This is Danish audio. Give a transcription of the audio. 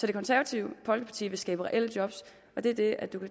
det konservative folkeparti vil skabe reelle job det er det